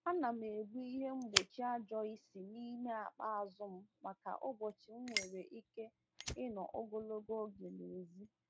Ana m ebu ihe mgbochi ajo isi n’ime akpa azụ m maka ụbọchị m nwere ike ịnọ ogologo oge n’èzí.